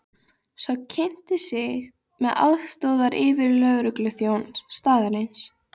Sá kynnti sig sem aðstoðaryfirlögregluþjón staðarins.